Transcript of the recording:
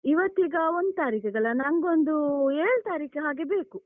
ಇವತ್ತೀಗ ಒಂದ್ ತಾರೀಖಿಗಲ್ಲ, ನಂಗೊಂದು ಏಳ್ ತಾರೀಖ್ ಹಾಗೆ ಬೇಕು.